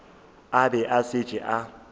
a be a šetše a